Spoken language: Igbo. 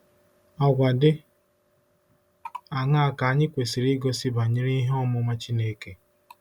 Àgwà dị aṅaa ka anyị kwesịrị igosi banyere ihe ọmụma Chineke?